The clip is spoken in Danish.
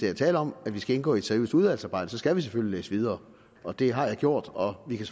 er tale om at vi skal indgå i et seriøst udvalgsarbejde så skal vi selvfølgelig læse videre og det har jeg gjort og vi kan